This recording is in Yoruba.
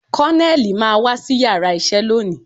Koneli máa wá sí yàrá isẹ lónìí